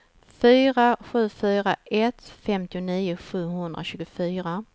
fyra sju fyra ett femtionio sjuhundratjugofyra